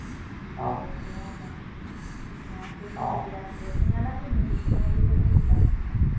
দিয়ে খেলাম না সিঙ্গারা কি